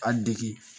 A degi